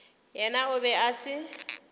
yena o be a se